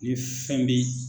Ni fɛn bɛ ye.